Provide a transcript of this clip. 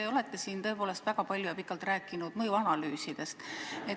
Te olete siin tõepoolest väga palju ja pikalt rääkinud mõjuanalüüsidest.